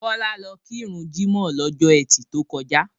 Bọlá lọ kí run jímọ̀ lọ́jọ́ ẹtì to kọjá.